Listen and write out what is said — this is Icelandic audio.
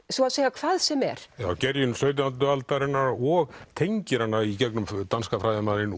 svo að segja hvað sem er gerjun sautjándu aldarinnar og tengir hana í gegnum danska fræðimanninn